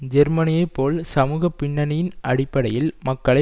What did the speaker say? ஜெர்மனியைப் போல் சமூக பின்னணியின் அடிப்படையில் மக்களை